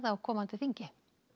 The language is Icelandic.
á komandi þingi